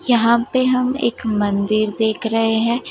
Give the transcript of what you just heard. यहां पे हम एक मंदिर देख रहे हैं।